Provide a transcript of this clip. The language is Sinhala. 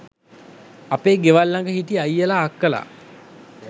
අපේ ගෙවල් ළඟ හිටි අයියලා අක්කලා